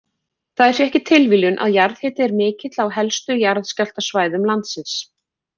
Það er því ekki tilviljun að jarðhiti er mikill á helstu jarðskjálftasvæðum landsins.